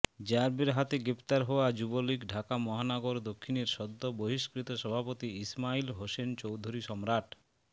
র্যাবের হাতে গ্রেপ্তার হওয়া যুবলীগ ঢাকা মহানগর দক্ষিণের সদ্য বহিষ্কৃত সভাপতি ইসমাইল হোসেন চৌধুরী সম্রাট